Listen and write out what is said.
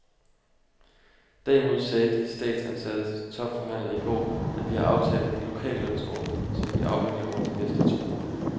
Derimod sagde de statsansattes topforhandler i går, at vi har aftalt en lokallønsordning, som vi afvikler over de næste to år.